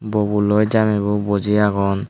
bobo loi jamme bo buji aagon.